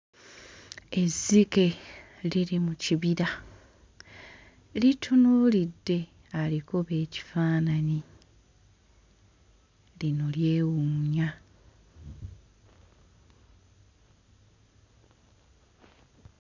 Ezzike liri mu kibira litunuulidde alikuba ekifaananyi lino lyewuunya.